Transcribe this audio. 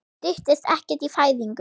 Styttist ekkert í fæðingu?